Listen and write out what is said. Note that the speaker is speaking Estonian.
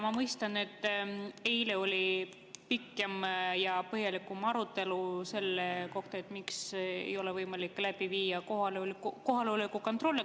Ma mõistan, et eile oli pikk ja põhjalik arutelu selle kohta, miks ei ole võimalik läbi viia kohaloleku kontrolli.